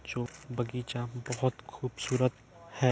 जो बगीचा बहोत खूबसूरत है।